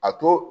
A to